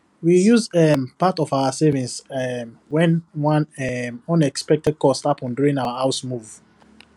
we use um part of our savings um when one um unexpected cost happen during our house move